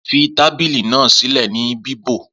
Fí tábìlì náà sílè ní bíbò